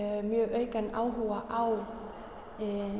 mjög aukinn áhuga á